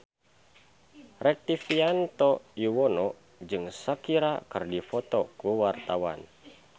Rektivianto Yoewono jeung Shakira keur dipoto ku wartawan